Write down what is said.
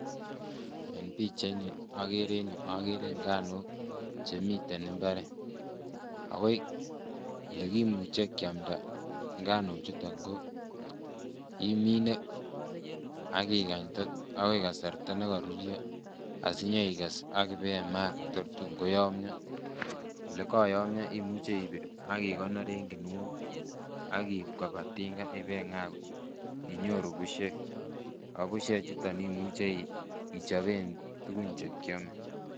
Eng pichaiini agere eng yu, agere nganok chemiten imbaret, ako lekimuche keamda ngano chuton ko imine ak ingany akoi kasarta ne karurio asinyoikes ak ibemaa tor tunkoyomion ole kakoyomion imuche ibir ak ikonor eng kuniok ak iib koba tinga ak ibingaa inyoru bushek. Ako bushe chuton imuchi ichoben tuguk che kiomei.